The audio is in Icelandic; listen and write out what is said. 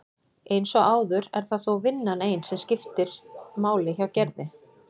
Eins og áður er það þó vinnan ein sem máli skiptir hjá Gerði.